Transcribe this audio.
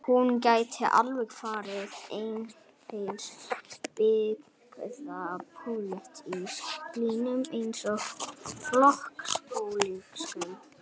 Hún gæti alveg farið eftir einhverjum byggðapólitískum línum eins og flokkspólitískum.